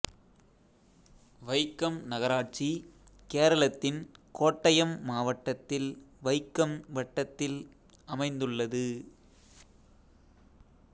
வைக்கம் நகராட்சி கேரளத்தின் கோட்டயம் மாவட்டத்தில் வைக்கம் வட்டத்தில் அமைந்துள்ளது